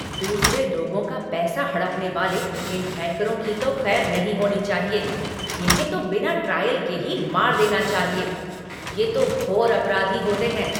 दूसरे लोगों का पैसा हड़पने वाले इन हैकरों की तो खैर नहीं होनी चाहिए, इन्हें तो बिना ट्रायल के ही मार देना चाहिए। ये तो घोर अपराधी होते हैं।